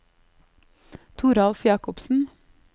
Toralf Jacobsen